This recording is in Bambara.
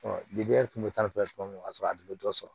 kun be ka sɔrɔ a dun be dɔ sɔrɔ